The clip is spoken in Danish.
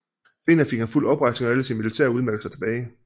Senere fik han fuld oprejsning og alle sine militære udmærkelser tilbage